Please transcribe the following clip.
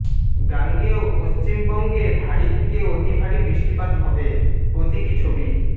গাঙ্গেয় পঃবঙ্গে ভারী থেকে অতিভারী বৃষ্টিপাত হবে প্রতীকী ছবি